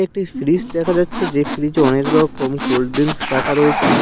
একটি ফ্রিজ দেখা যাচ্ছে যে ফ্রিজে অনেক রকম কোল্ড ড্রিংকস রাখা রয়েছে।